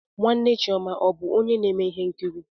Nwanne chioma ọ bụ onye na-eme ihe nkiri?